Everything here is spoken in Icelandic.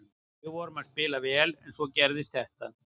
Við vorum að spila vel en svo gerist þetta.